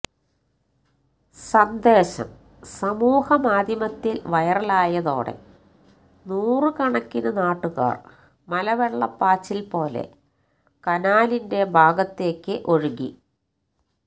സന്ദേശം സമൂഹ മാധ്യമത്തിൽ വൈറലായതോടെ നൂറു കണക്കിന് നാട്ടുകാർ മലവെള്ള പാച്ചിൽ പോലെ കനാലിന്റെ ഭാഗത്തേക്ക് ഒഴുകി